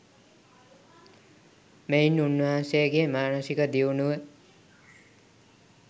මෙයින් උන්වහන්සේගේ මානසික දියුණුව